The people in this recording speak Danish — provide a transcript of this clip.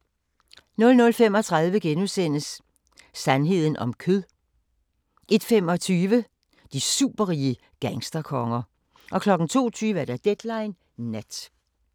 00:35: Sandheden om kød * 01:25: De superrige gangsterkonger 02:20: Deadline Nat